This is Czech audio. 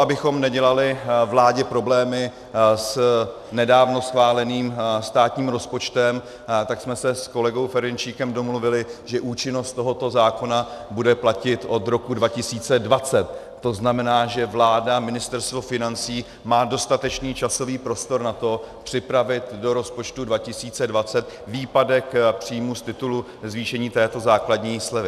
Abychom nedělali vládě problémy s nedávno schváleným státním rozpočtem, tak jsme se s kolegou Ferjenčíkem domluvili, že účinnost tohoto zákona bude platit od roku 2020, to znamená, že vláda, Ministerstvo financí, má dostatečný časový prostor na to připravit do rozpočtu 2020 výpadek příjmů z titulu zvýšení této základní slevy.